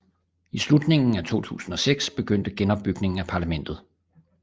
I slutningen af 2006 begyndte genopbygningen af parlamentet